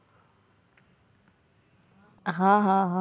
હા હા